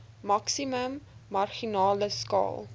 maksimum marginale skaal